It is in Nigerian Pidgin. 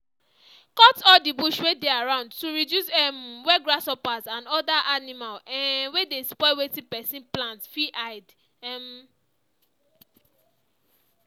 cut all the bush wey dey around to reduce um where grasshoppers and other animal um wey dey spoil wetin pesin plant fit hide um